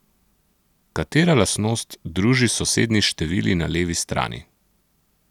Katera lastnost druži sosednji števili na levi strani?